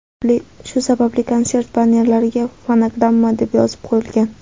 Shu sababli konsert bannerlariga fonogramma deb yozib qo‘yilgan.